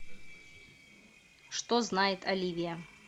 что знает оливия